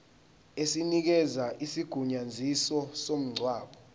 esinikeza isigunyaziso somngcwabo